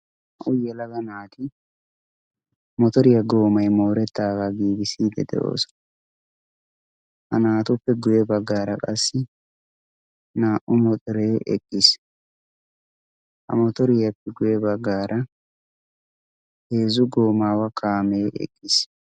auyyelaga naati motoriyaa goomai moorettaagaa giigisiide de7oosona ha naatuppe guye baggaara qassi naa77u moxoree eqqiis a motoriyaappe guye baggaara heezzu goomaawa kaamee eqqiis